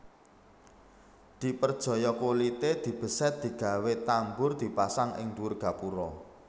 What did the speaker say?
Diperjaya kulité dibesèt digawé tambur dipasang ing dhuwur gapura